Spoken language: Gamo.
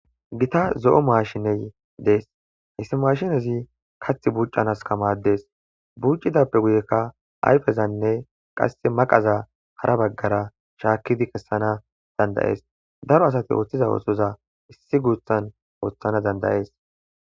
gita zo7o maashiney dees hissi mashinezi kath buccanas kamadees buccidappe guyekka ayfezanne qasse maqaza hara baggara shaakidi kessana dandayees daro asati ooththiza oosoza issi guuthan ooththana dandayees